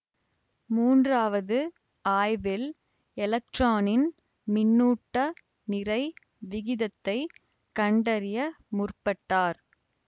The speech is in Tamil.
மூன்றாவது ஆய்வில் எலக்ட்ரானின் மின்னூட்ட நிறை விகிதத்தை கண்டறிய முற்பட்டார்